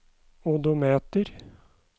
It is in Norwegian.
odometer